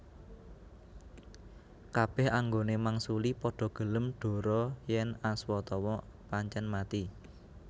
Kabeh anggone mangsuli padha gelem dhora yen Aswatama pancen mati